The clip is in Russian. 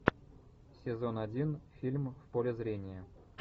сезон один фильм в поле зрения